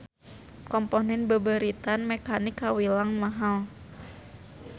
Komponen beubeuritan mekanik kawilang mahal.